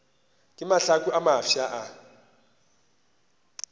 re mahlaku a mafsa a